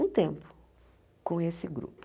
um tempo com esse grupo.